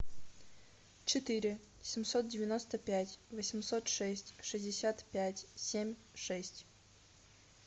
четыре семьсот девяносто пять восемьсот шесть шестьдесят пять семь шесть